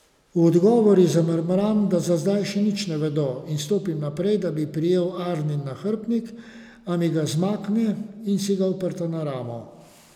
V odgovor ji zamrmram, da za zdaj še nič ne vedo, in stopim naprej, da bi prijel Arnin nahrbtnik, a mi ga izmakne in si ga oprta na ramo.